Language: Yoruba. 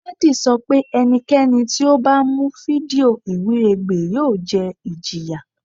Daddy sọ pe ẹnikẹni ti o ba mu fidio iwiregbe yoo jẹ ijiya